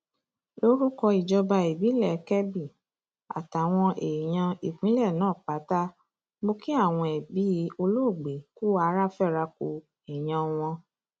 lórúkọ ìjọba ìbílẹ kebbi àtàwọn èèyàn ìpínlẹ náà pátá mọ kí àwọn ẹbí olóògbé kù ara fẹra ku èèyàn wọn